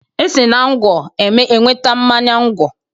E si na ngwọ enweta mmanya ngwọ.